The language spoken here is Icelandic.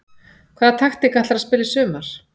Hvaða taktík ætlarðu að spila í sumar?